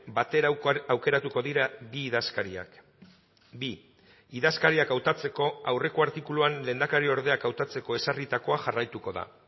batera aukeratuko dira bi idazkariak bi idazkariak hautatzeko aurreko artikuluan lehendakariordeak hautatzeko ezarritakoa jarraituko da